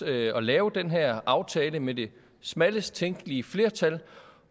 at at lave den her aftale med det smallest tænkelige flertal